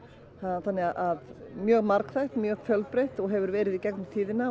þannig að mjög margþætt mjög fjölbreytt og hefur verið í gegnum tíðina og